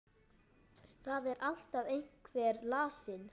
Það er alltaf einhver lasin.